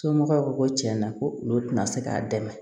Somɔgɔw ko ko tiɲɛna ko olu tɛna se k'a dɛmɛ